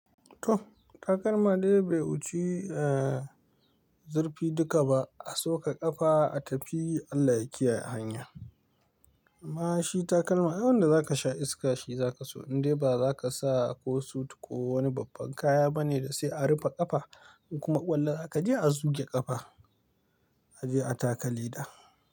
To takalma dai bai wuce zurfi duka ba, a soka ƙafa a tafi Allah ya kiyaye hanya. Amma shi takalma Ai wanda zaka sha iska shi zaka so indai ba zaka sa ko sut ko wani babban kaya bane da sai an rufe ƙafa in kuma ƙwallo zaka je a zuge ƙafa a je a taka leda.